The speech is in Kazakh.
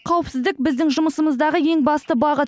қауіпсіздік біздің жұмысымыздағы ең басты бағыт